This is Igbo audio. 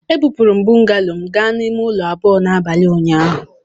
Ebupụrụ m bungalow m gaa n'ime ụlọ abụọ n'abalị ụnyaahụ.